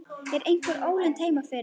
Er einhver ólund heima fyrir?